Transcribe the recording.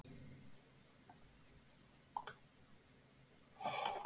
Vilja endurskipuleggja rekstur skóla